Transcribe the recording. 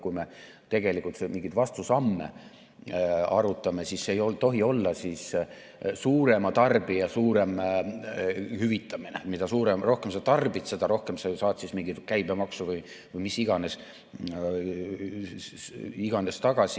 Kui me mingeid vastusamme arutame, siis ei tohi need olla suurema tarbija suurem hüvitamine, et mida rohkem sa tarbid, seda rohkem sa saad siis mingit käibemaksu või mida iganes tagasi.